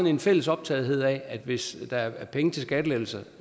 en fælles optagethed af at hvis der er penge til skattelettelser